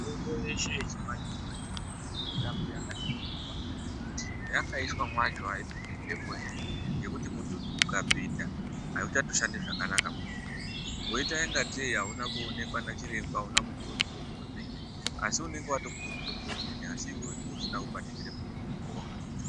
Mitombo yeshe yechimanje manje irambe yakaningirwa kuti mayakaiswa macho haipindi mhepo ere nekuti mututu ukapinda hauchatoshandi zvakanaka mutombowo woitangetei hamuna kuoneka nachiremba hamuna kupiwa mutombo wemene asi unenge watopuwa mutombo wemene asi iwewe ndiwe usina kubatikira mutombo wawakazotenga.